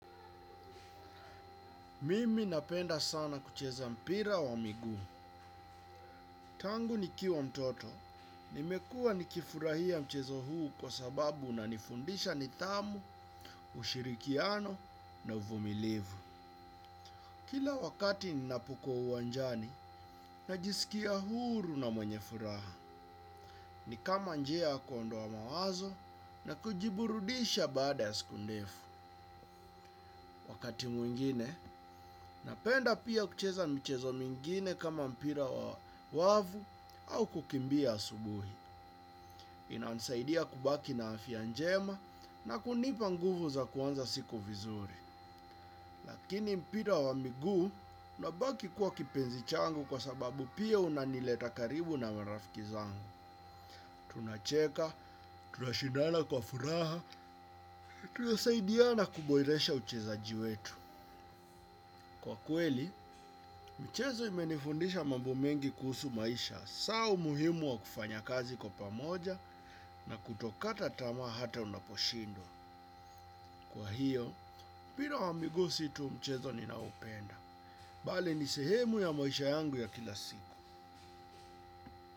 Mimi napenda sana kucheza mpira wa miguu. Tangu ni kiwa mtoto. Nimekua nikifurahia mchezo huu kwa sababu unanifundisha nidhamu ushirikiano na uvumilivu. Kila wakati ninapukwa uwanjani, najisikia huru na mwenye furaha. Ni kama njia ya kuondoa mawazo na kujiburudisha baada ya sikundefu. Wakati mwingine, napenda pia kucheza mchezo mingine kama mpira wa wavu au kukimbia asubuhi. Inansaidia kubaki na afya njema na kunipa nguvu za kuanza siku vizuri. Lakini mpira wa miguu, unabaki kuwa kipenzi changu kwa sababu pia unanileta karibu na marafiki zangu. Tunacheka, tunashindana kwa furaha, tuna saidia na kuboreresha ucheza jiwetu. Kwa kweli, mchezo imenifundisha mambo mengi kuhusu maisha, saa umuhimu wa kufanya kazi kwa pamoja na kutokata tamaa hata unaposhindwa. Kwa hiyo, mpira wa miguu situ mchezo ninaopenda. Bali ni sehemu ya maisha yangu ya kilasiku.